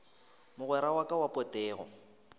mogwera wa ka wa potego